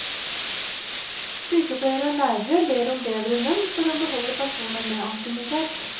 Sykepleiere og lærere ber om bedre lønn for å beholde personer med ansiennitet.